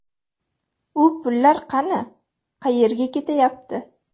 U pullar qani, qayerga ketyapti?